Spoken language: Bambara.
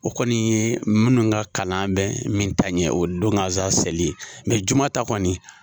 O kɔni ye munnu ka kalan bɛ min ta ɲɛ o don kansan seli, juma ta kɔni.